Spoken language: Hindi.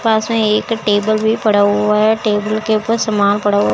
पास में एक टेबल भी पड़ा हुआ है टेबल के ऊपर सामान पड़ा हु--